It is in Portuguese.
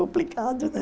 Complicado, né?